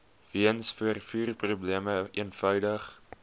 weens vervoerprobleme eenvoudig